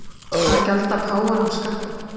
Að gjalda páfanum skattinn